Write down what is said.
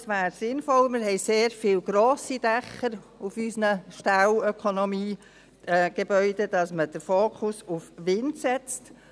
Es wäre sinnvoll – wir haben sehr viele grosse Dächer auf unseren Ställen und Ökonomiegebäuden –, dass man den Fokus auf Wind legt.